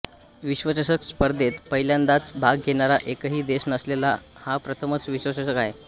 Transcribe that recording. विश्वचषक स्पर्धेत पहिल्यांदाच भाग घेणारा एकही देश नसलेला हा प्रथमच विश्वचषक आहे